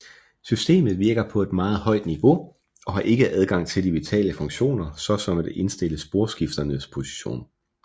Systemet virker på et meget højt niveau og har ikke adgang til de vitale funktioner såsom at indstille sporskifternes position